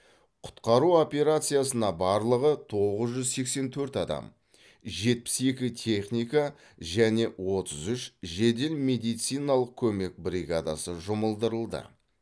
құтқару операциясына барлығы тоғыз жүз сексен төрт адам жетпіс екі техника және отыз үш жедел медициналық көмек бригадасы жұмылдырылды